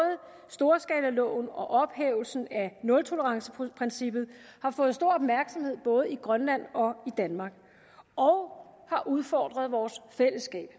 storskalaloven og ophævelsen af nultoleranceprincippet har fået stor opmærksomhed både i grønland og i danmark og har udfordret vores fællesskab